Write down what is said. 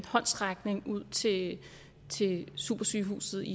håndsrækning ud til til supersygehuset i